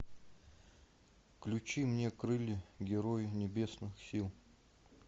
включи мне крылья герои небесных сил